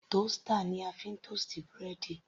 Toaster ni a fi ń toast búrẹ́dì.